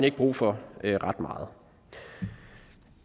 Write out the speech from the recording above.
ikke brug for ret meget